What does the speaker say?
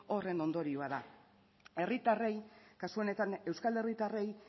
horren ondorioa da herritarrei kasu honetan euskal herritarrei